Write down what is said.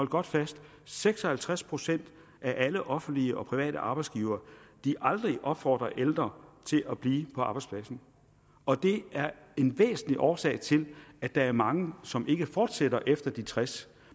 godt fast at seks og halvtreds procent af alle offentlige og private arbejdsgivere aldrig opfordrer ældre til at blive på arbejdspladsen og det er en væsentlig årsag til at der er mange som ikke fortsætter efter de tres